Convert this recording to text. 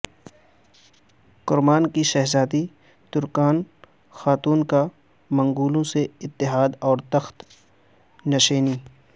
کرمان کی شہزادی Terken Khatun کا منگولوں سے اتحاد اور تخت نشینی